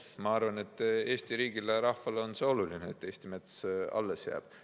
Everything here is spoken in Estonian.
Ma arvan, et Eesti riigile ja rahvale on see oluline, et Eesti mets alles jääb.